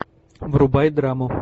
врубай драму